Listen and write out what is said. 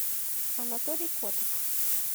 анатолий котов